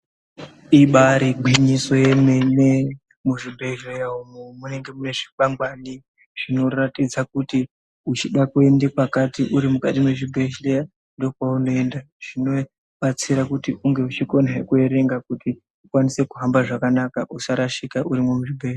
Ibaari gwinyiso remene muzvibhedhleya umu munenge muine zvikwangwani zvinoratidza kuti uchida kuenda kwakati uri mukati mwezvibhendleya nekweunoenda zvinobatsira kuti unge uchikonazve kuerenga kuti ukwanise kuhamba zvakanaka usarashika urimwo muzvibhedhleya.